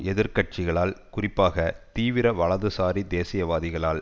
எதிர் கட்சிகளால் குறிப்பாக தீவிர வலது சாரி தேசியவாதிகளால்